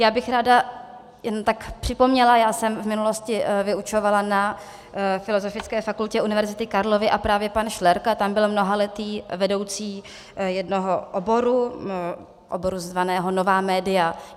Já bych ráda jen tak připomněla - já jsem v minulosti vyučovala na filozofické fakultě Univerzity Karlovy a právě pan Šlerka tam byl mnohaletým vedoucím jednoho oboru, oboru zvaného nová média.